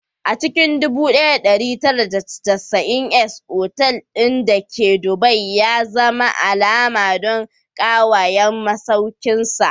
A cikin 1990s, otal ɗin da ke Dubai ya zama alama don kyawawan masaukinsa.